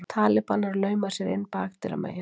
Talibanar lauma sér inn bakdyramegin